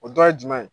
O dɔ ye jumɛn ye